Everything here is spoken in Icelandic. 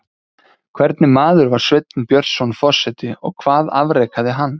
Hvernig maður var Sveinn Björnsson forseti og hvað afrekaði hann?